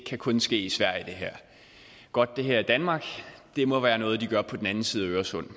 kunne ske i sverige godt at det her er danmark det må være noget de gør på den anden side af øresund